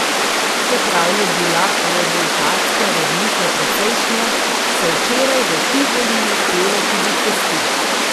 Čeprav je bila rezultatska razlika precejšnja, so včeraj v Tivoliju pele tudi pesti.